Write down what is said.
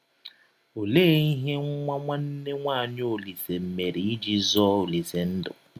Ọlee ihe nwa nwanne nwaanyị Ọlise mere iji zọọ Ọlise ndụ?